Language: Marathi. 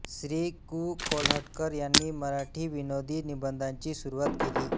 श्री कृ कोल्हटकर यांनी मराठीत विनोदी निबंधांची सुरुवात केली